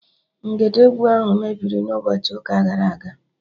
Ngedegwu ahụ mebiri n'ụbọchị ụka gara aga